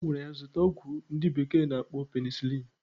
Ogwara ya ya zuta ogwu ndi bekee na-akpo penicilin.